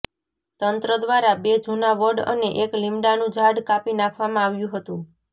તંત્ર દ્વારા બે જૂના વડ અને એક લીમડાનું ઝાડ કાપી નાખવામાં આવ્યું હતું